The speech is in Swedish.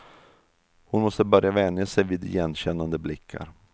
Hon måste börja vänja sig vid igenkännande blickar.